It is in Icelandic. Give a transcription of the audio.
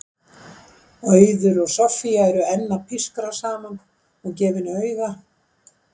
Auður og Soffía eru enn að pískra saman og gefa henni auga.